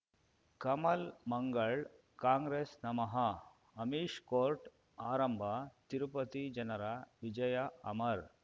ಕಮಲ್ ಮಂಗಳ್ ಕಾಂಗ್ರೆಸ್ ನಮಃ ಅಮಿಷ್ ಕೋರ್ಟ್ ಆರಂಭ ತಿರುಪತಿ ಜನರ ವಿಜಯ ಅಮರ್